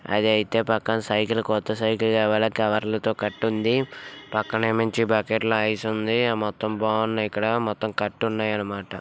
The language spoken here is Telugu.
అదైతే పక్కన సైకిల్ కొత్త సైకిల్ కవర్ ల తో కట్టుంది. పక్కనేముంచి బకెట్లో ఐస్ ఉంది మొత్తం బాగుంది ఇక్కడ మొత్తం కట్టున్నాయనమాట.